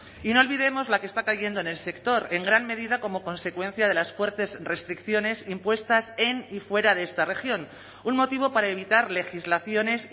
y no olvidemos la que está cayendo en el sector en gran medida como consecuencia de las fuertes restricciones impuestas en y fuera de esta región un motivo para evitar legislaciones